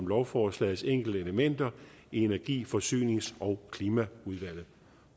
lovforslagets enkelte elementer i energi forsynings og klimaudvalget